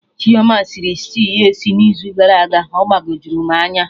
Chima sịrị stew ya esi na izu gara aga, ọ gbagojuru m anya